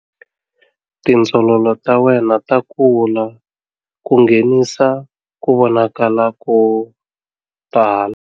Tindzololo ta wena ta kula ku nghenisa ku vonakala ko tala.